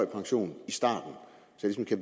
pension